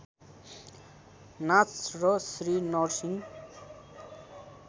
नाच र श्री नरसिंह